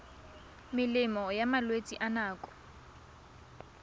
melemo ya malwetse a nako